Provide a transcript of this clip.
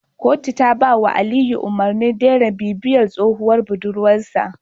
Kotu ta ba Aliyu umarnin daina bibiyar tsohuwar budurwar sa